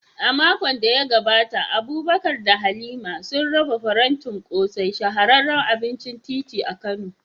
A makon da ya gabata, Abubakar da Halima sun raba farantin ƙosai, shahararren abincin titi a Kano.